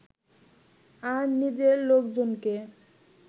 আর নিজের লোকজনকে